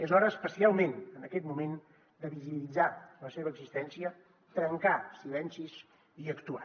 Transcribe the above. és hora especialment en aquest moment de visibilitzar la seva existència trencar silencis i actuar